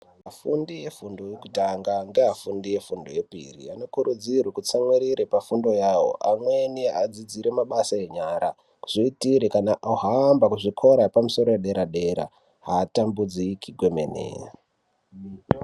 Vafundi vefundo yekutanga ngeafundi efundo yepiri vanokurudzirwe kutsamwirire pafundo yavo amweni adzidzire mabasa enyara, kuzviitire kana ahamba kuzvikora zvepamusoro paderadera hatambudziki kwemene.